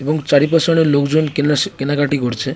এবং চারিপাশে অনেক লোকজন কেনাস কেনাকাটি করছে।